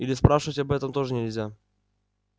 или спрашивать об этом тоже нельзя